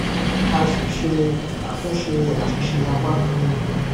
a ṣíṣe àtúnṣe àṣìṣe apá kan